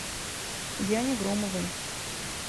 яне громовой